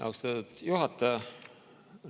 Austatud juhataja!